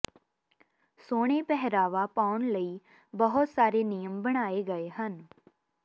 ਸੋਹਣੇ ਪਹਿਰਾਵਾ ਪਾਉਣ ਲਈ ਬਹੁਤ ਸਾਰੇ ਨਿਯਮ ਬਣਾਏ ਗਏ ਹਨ